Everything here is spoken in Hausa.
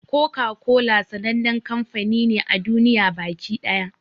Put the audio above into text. Koka-kola sannan kamfani ne a duniya baki ɗaya.